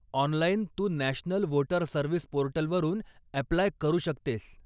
Online तू national voter service पोर्टलवरून apply करू शकतेस.